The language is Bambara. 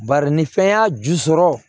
Bari ni fɛn y'a ju sɔrɔ